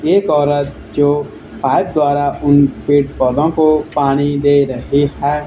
एक औरत जो हाथ द्वारा उन पेड़ पौधों को पानी दे रही है।